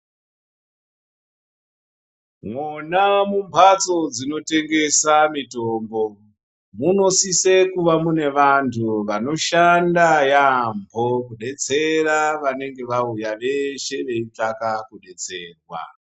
Mwona mumhatso dzinotengesa mitombo. Munosise kuva mune vantu vanoshanda yaambo, kubetsera vanenge vaya veshe veitsvaga kubetserwa.